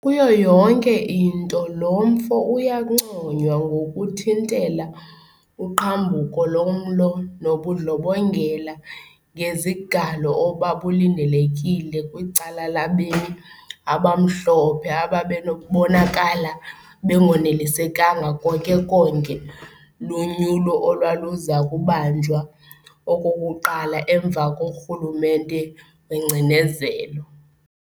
Kuyo yonke into lo mfo uyanconywa ngokuthintela uqhambuko lomlo nobundlobongela ngezigalo obabulindelekile kwicala labemi abamhlophe ababebonakala bengonelisekanga konke-konke lunyulo olwaluzakubanjwa okokuqala emva korhulumente wengcinezelo.